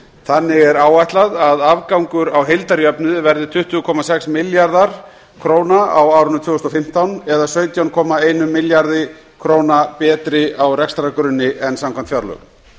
þannig er áætlað að afgangur á heildarjöfnuði verði tuttugu komma sex milljarðar króna á árinu tvö þúsund og fimmtán það er sautján komma einum milljarði króna betri á rekstrargrunni en samkvæmt fjárlögum